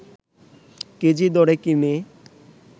KG দরে কিনে